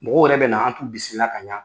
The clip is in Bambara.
Mɔgɔw yɛrɛ bɛ na, an t'u bisimila ka ɲa.